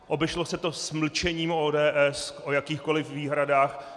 Obešlo se to s mlčením ODS o jakýchkoliv výhradách.